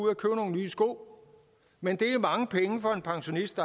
men det er mange penge for en pensionist